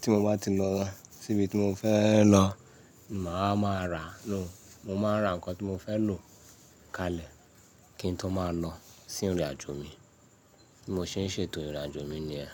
tí mo bá ti lọ sí ibi tí mo fẹ́ lọ, màá máa ra. No, mo máa ń ra ǹkan tí mo fẹ́ lò kalẹ̀ kí n tó máa lọ sí ìrìnàjò mi. Bí mo ṣe ń ṣètò ìrìnàjò mi ni ẹ́.